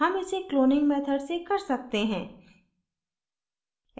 हम इसे cloning method से कर सकते हैं